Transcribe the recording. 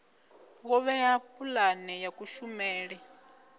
wo vhea pulane ya kushumele